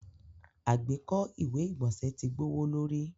Agbeko iwe igbọnsẹ ti gbọwọlorí.